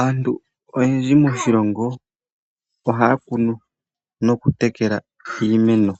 Aantu oyendji moshilongo ,ohaya kunu nokutekela iimeno